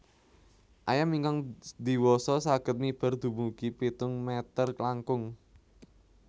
Ayam ingkang diwasa saged miber dumugi pitung mèter langkung